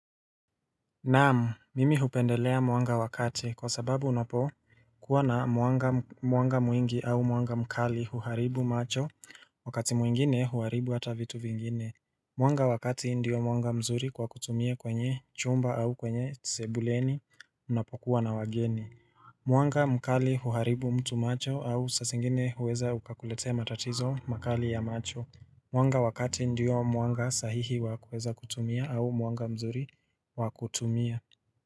Naam, mimi hupendelea mwanga wa kati kwa sababu unapo kuwa na mwanga mwingi au mwanga mkali huharibu macho, wakati mwingine huharibu hata vitu vingine. Mwanga wa kati ndio mwanga mzuri kwa kutumia kwenye chumba au kwenye sebuleni unapokuwa na wageni. Mwanga mkali huharibu mtu macho au sa zingine huweza ukakuletea matatizo makali ya macho. Mwanga wa kati ndio mwanga sahihi wa kuweza kutumia au mwanga mzuri wa kutumia.